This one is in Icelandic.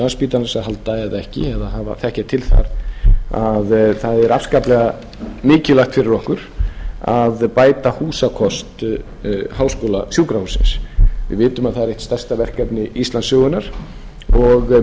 landspítalans að halda eða ekki eða þekkja til þar að það er afskaplega mikilvægt fyrir okkur að bæta húsakost háskólasjúkrahússins við vitum að það er eitt stærsta verkefni íslandssögunnar og